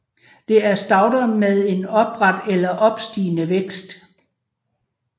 Det er stauder med en opret eller opstigende vækst